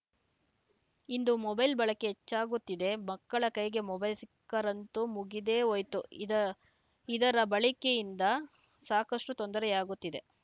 ಇಂದು mobile ಬಳಕೆ ಹೆಚ್ಚಾಗುತ್ತಿದೆ ಮಕ್ಕಳ ಕೈಗೆ ಮೊಬೈಲ್‌ ಸಿಕ್ಕರಂತೂ ಮುಗಿದೇ ಹೋಯಿತುಇದ ಇದರ ಬಳಕೆಯಿಂದ ಸಾಕಷ್ಟುತೊಂದರೆಯಾಗುತ್ತಿದೆ